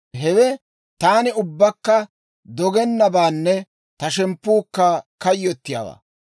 Hewe taani ubbakka dogennabaanne ta shemppuukka kayyottiyaawaa.